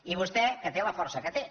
i vostè que té la força que té